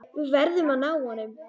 Við verðum að ná honum.